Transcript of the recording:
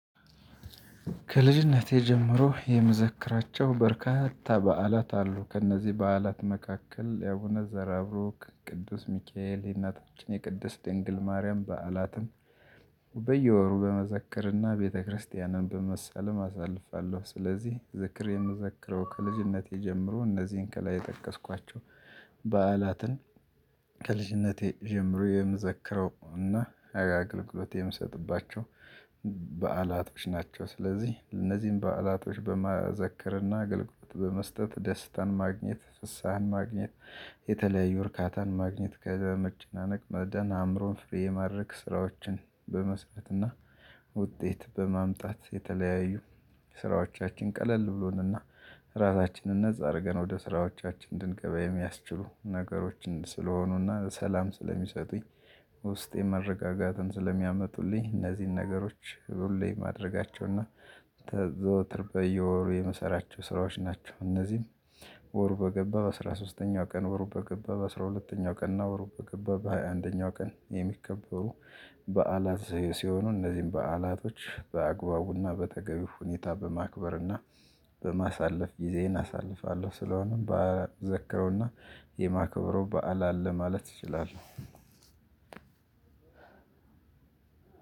ከልጅነቴ ጀምሮ የምዘክራቸው በርካታ በዓላት አሉ ከእነዚህ በዓላት መካከል የአቡነ ዘርአብሩክ ቅዱስ ሚካኤል የእናታችን የቅድስት ድንግል ማርያም በዓላትን በየወሩ በመዘከርና ቤተክርስቲያንም በመሰላም አሳልፋለሁ። ስለዚህ ዝክሬን ምዘክረው ከልጅነቴ ጀምሮ እነዚህን ከላይ የጠቀስኳቸው በዓላትን። ከልጅነቴ ጀምሮ የምዘክረው እና አገልግሎት የምሰጥባቸው በዓላቶች ናቸው። ስለዚህ እነዚህን በዓላቶች በመዘከር ና አገልግሎት በመስጠት ደስታን ማግኘት ፍስሃን ማግኘት። የተለያዩ እርካታን ማግኘት ከመጨናነቅ መዳን አእምሮን ፍሬ የማድረግ ስራዎችን በመስጠትና። ውጤት በማምጣት የተለያዩ ስራዎቻችን ቀለል ብሎንና ራሳችንን ነፃ አርገን ወደ ስራዎቻችን እንድንገባ የሚያስችሉ ነገሮችን ስለሆኑና ሰላም ስለሚሰጡኝ። ውስጤ መረጋጋትን ስለሚያመጡልኝ እነዚህን ነገሮች ሁሌ ማድረጋቸውና ዘወትር በየወሩ የምሰራቸው ስራዎች ናቸው። እነዚህም ወሩ በገባ በአስራ ሶስተኛው ቀን ወሩ በገባ በአስራ ሁለተኛው ቀን እና ወሩ በገባ በሃያ አንደኛው ቀን የሚከበሩ በዓላት ሲሆኑ እነዚህን በዓላቶች በአግባቡና በተገቢው ሁኔታ በማክበርና በማሳለፍ ጊዜዬን አሳልፋለሁ። ስለሆነም በዓል ምዘክረው እና የማክብረው በዓል አለ ማለት እችላለሁ።